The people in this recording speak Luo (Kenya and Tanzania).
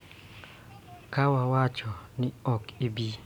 Ka wawacho ni ok bi wilgo,